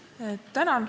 Tänan!